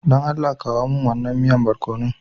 Dan Allah kawo min wannan miyan borkonon.